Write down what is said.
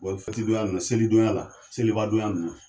Wali fɛtidonya ninnu la selidonya la selibadonya ninnu